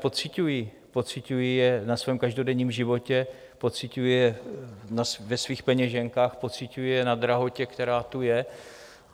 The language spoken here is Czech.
Pociťují je na svém každodenním životě, pociťují je ve svých peněženkách, pociťují je na drahotě, která tu je.